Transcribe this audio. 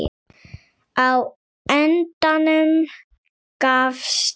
Á endanum gafst